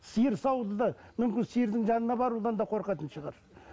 сиыр саууды да мүмкін сиырдың жанына барудан да қорқатын шығар